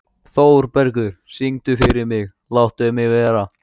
Þórbergur, syngdu fyrir mig „Láttu mig vera“.